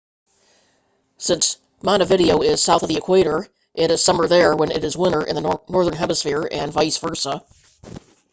since montevideo is south of the equator it is summer there when it's winter in the northern hemisphere and vice versa